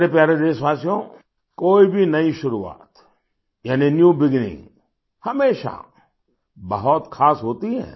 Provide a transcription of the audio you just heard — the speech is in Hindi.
मेरे प्यारे देशवासियोंकोई भी नई शुरुआत यानी न्यू बिगिनिंग हमेशा बहुत ख़ास होती हैं